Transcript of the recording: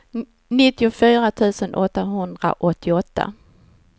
nittiofyra tusen åttahundraåttioåtta